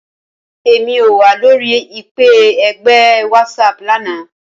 Rara, Emi ko wa lori ipe ẹgbẹ Whatsapp lana.